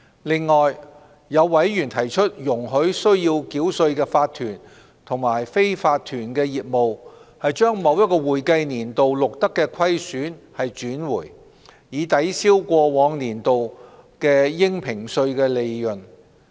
此外，有委員提出容許須繳稅的法團及非法團業務把某一會計年度錄得的虧損轉回，以抵銷過往年度的應評稅利潤。